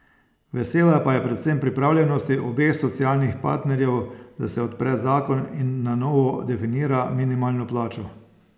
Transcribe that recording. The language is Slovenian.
Vesela pa je predvsem pripravljenosti obeh socialnih partnerjev, da se odpre zakon in na novo definira minimalno plačo.